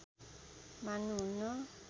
मान्नु हुन्न